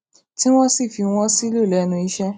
tí wón sì fi wón sílò lénu iṣé